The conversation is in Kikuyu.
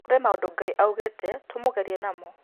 Kũrĩ maũndũ Ngai augĩte tũmũgerie namo